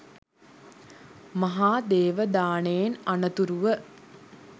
මහා දේව දානයෙන් අනතුරුව